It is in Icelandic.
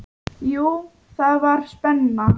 Jú, það var spenna.